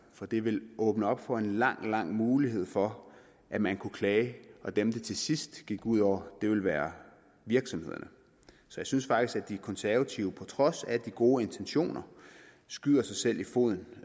for det vil åbne op for en lang lang muligheder for at man kan klage og dem det til sidst ville gå ud over ville være virksomhederne så jeg synes faktisk at de konservative på trods af de gode intentioner skyder sig selv i foden